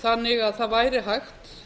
þannig að það væri hægt